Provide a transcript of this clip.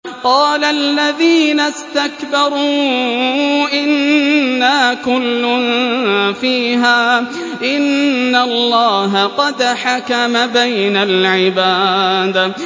قَالَ الَّذِينَ اسْتَكْبَرُوا إِنَّا كُلٌّ فِيهَا إِنَّ اللَّهَ قَدْ حَكَمَ بَيْنَ الْعِبَادِ